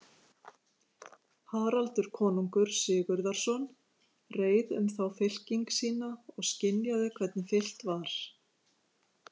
Haraldur konungur Sigurðarson reið um þá fylking sína og skynjaði, hvernig fylkt var.